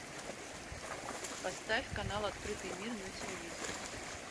поставь канал открытый мир на телевизоре